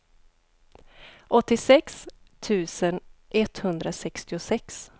åttiosex tusen etthundrasextiosex